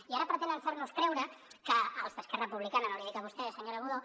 i ara pretenen fer nos creure que els d’esquerra republicana no l’hi dic a vostè senyora budó